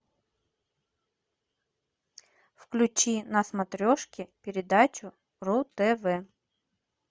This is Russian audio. включи на смотрешке передачу ру тв